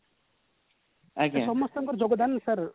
ସମସ୍ତଙ୍କ ର ଯୋଗଦାନ sir